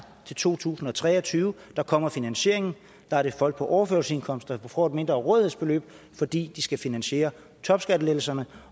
til to tusind og tre og tyve kommer finansieringen der er det folk på overførselsindkomster der får et mindre rådighedsbeløb fordi de skal finansiere topskattelettelserne